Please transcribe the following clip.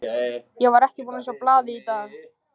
Ég var ekki búinn að sjá blaðið í dag.